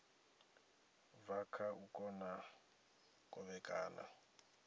bva kha u kona kovhekana